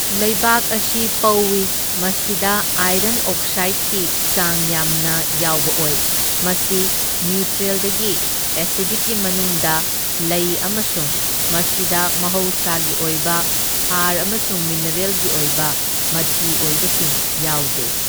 ꯂꯩꯕꯥꯛ ꯑꯁꯤ ꯄꯧꯢ, ꯃꯁꯤꯗ ꯑꯥꯏꯔꯟ ꯑꯣꯛꯁꯥꯏꯗꯀꯤ ꯆꯥꯡ ꯌꯥꯝꯅ ꯌꯥꯎꯕ ꯑꯣꯏ, ꯃꯁꯤ ꯅ꯭ꯌꯨꯇ꯭ꯔꯦꯜꯗꯒꯤ ꯑꯦꯁꯤꯗꯤꯛꯀꯤ ꯃꯅꯨꯡꯗ ꯂꯩ ꯑꯃꯁꯨꯡ ꯃꯁꯤꯗ ꯃꯍꯧꯁꯥꯒꯤ ꯑꯣꯏꯕ ꯍꯥꯔ ꯑꯃꯁꯨꯡ ꯃꯤꯅꯔꯦꯜꯒꯤ ꯑꯣꯏꯕ ꯃꯆꯤ ꯑꯣꯏꯕꯁꯤꯡ ꯌꯥꯎꯗꯦ꯫